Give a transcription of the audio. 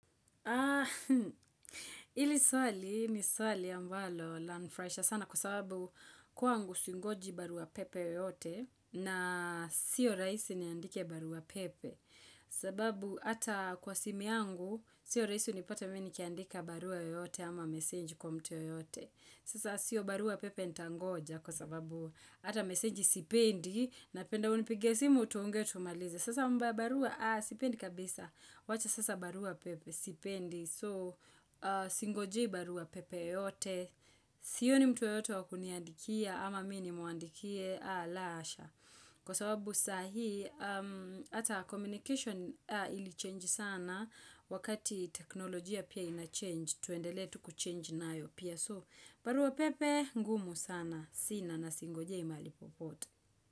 Haa, ili swali ni swali ambalo la nifraisha sana kwa sababu kwangu singoji barua pepe yeyote na sio raisi niandike barua pepe. Sababu ata kwa simu yangu, sio raisi unipate mi nikiandika barua yoyote ama message kwa mtu yeyote. Sasa sio barua pepe nitangoja kwa sababu ata message sipendi napenda unipigie simu tuongee tumalize. Sasa mba barua sipendi kabisa. Wacha sasa barua pepe sipendi. So singojei barua pepe yeyote. Sioni mtu yeyote wa kuniandikia ama mi nimuandikie la asha. Kwa sababu saa hii ata communication ili change sana wakati teknolojia pia ina change. Tuendelee tu kuchange nayo pia. So barua pepe ngumu sana. Sina na singojei mahali popote.